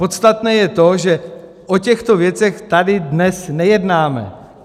Podstatné je to, že o těchto věcech tady dnes nejednáme.